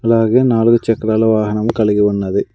అలాగే నాలుగు చక్రాల వాహనం కలిగి ఉన్నది.